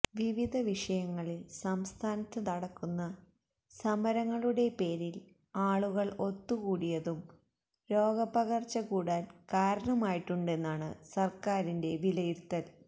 വിവിധ വിഷയങ്ങളില് സംസ്ഥാനത്ത് നടക്കുന്ന സമരങ്ങളുടെ പേരില് ആളുകള് ഒത്തുകൂടിയതും രോഗ പകര്ച്ച കൂടാന് കാരണമായിട്ടുണ്ടെന്നാണ് സര്ക്കാരിന്റെ വിലയിരുത്തല്